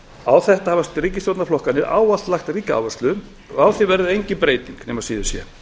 á þetta hafa ríkisstjórnarflokkarnir ávallt lagt ríka áherslu og á því verður engin breyting nema síður sé